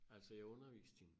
Altså jeg underviste hende